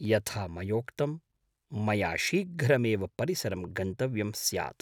यथा मयोक्तम्, मया शीघ्रमेव परिसरं गन्तव्यं स्यात्।